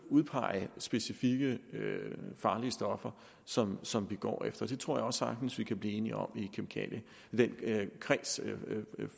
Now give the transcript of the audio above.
udpege specifikke farlige stoffer som som vi går efter det tror jeg også sagtens vi kan blive enige om i den